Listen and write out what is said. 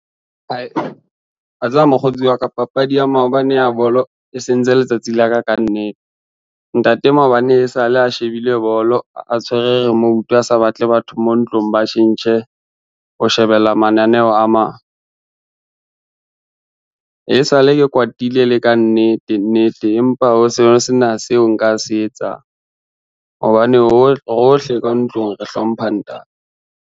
Wa tseba mokgotsi wa ka, papadi ya maobane ya bolo e sentse letsatsi la ka ka nnete. Ntate maobane e sa le a shebile bolo a tshwere remote a sa batle batho mo ntlong ba tjhentjhe ho shebella mananeo a mang. Esale ke kwatile e le ka nnete nnete empa ho se sena seo nka se etsang, hobane rohle ka ntlong re hlompha ntate.